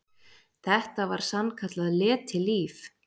Þetta var sann- kallað letilíf.